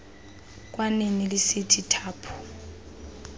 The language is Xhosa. kwanini lisithi thaphu